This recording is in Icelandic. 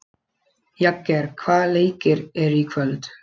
Jagger, hvaða leikir eru í kvöld?